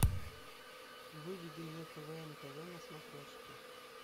выведи мне квн тв на смотрешке